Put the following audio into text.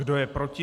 Kdo je proti?